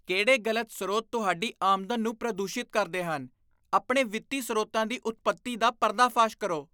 ਕਿਹੜੇ ਗਲਤ ਸਰੋਤ ਤੁਹਾਡੀ ਆਮਦਨ ਨੂੰ ਪ੍ਰਦੂਸ਼ਿਤ ਕਰਦੇ ਹਨ? ਆਪਣੇ ਵਿੱਤੀ ਸਰੋਤਾਂ ਦੀ ਉਤਪਤੀ ਦਾ ਪਰਦਾਫਾਸ਼ ਕਰੋ।